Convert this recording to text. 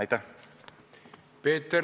Aitäh!